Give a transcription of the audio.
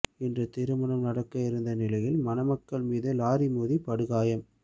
இன்று திருமணம் நடக்க இருந்த நிலையில் மணமக்கள் மீது லாரி மோதி படுகாயம்